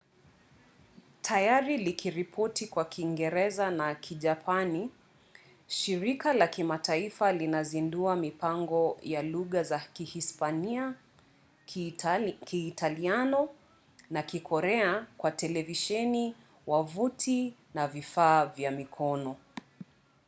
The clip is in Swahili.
tayari likiripoti kwa kiingereza na kijapani shirika la kimataifa linazindua mipango ya lugha za kihispania kiitaliano na kikorea kwa televisheni wavuti na vifaa vya mkononi